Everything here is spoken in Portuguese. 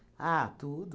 Ah, tudo.